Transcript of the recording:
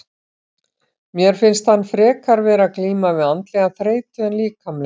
Mér finnst hann frekar vera að glíma við andlega þreytu en líkamlega.